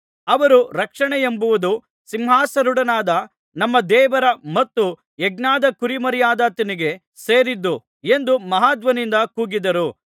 ಅವರು ರಕ್ಷಣೆಯೆಂಬುದು ಸಿಂಹಾಸನಾರೂಢನಾದ ನಮ್ಮ ದೇವರ ಮತ್ತು ಯಜ್ಞದ ಕುರಿಮರಿಯಾದಾತನಿಗೆ ಸೇರಿದ್ದು ಎಂದು ಮಹಾಧ್ವನಿಯಿಂದ ಕೂಗಿದರು